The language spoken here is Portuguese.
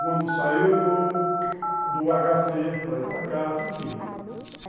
Quando saiu do agá cê para ir para casa, enfim.